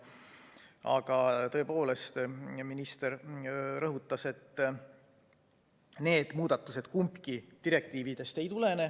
Aga tõepoolest, nagu minister rõhutas, kumbki neist muudatustest ei tulene direktiividest.